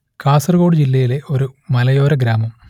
കാസർഗോഡ് ജില്ലയിലെ ഒരു മലയോര ഗ്രാമം